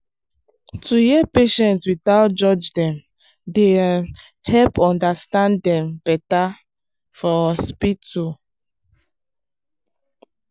to hear patient without judge dem dey um help understand dem better for hospital.